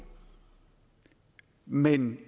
man